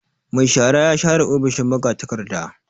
Mai shara ya share ofishin magatakarda.